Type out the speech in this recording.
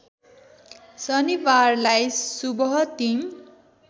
शनिबारलाई सुबह टिम